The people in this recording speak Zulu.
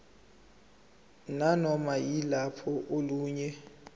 nanoma yiluphi olunye